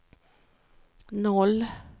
noll